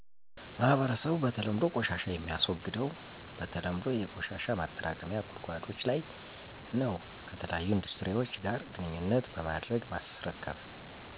ማህረሰብ በተለምዶ ቆሻሻ የሚያስወግደው በተለምዶ የቆሻሻ ማጠራቀሚያ ጉድጓዶች ለይ ነው ከተለያዩ ኢንዱስትሪዎች ጋር ግንኙነት በማድረግ ማስረከብ